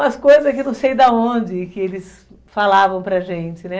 Umas coisas que não sei de onde que eles falavam para a gente, né?